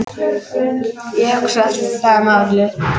Ég hugsa, það er málið.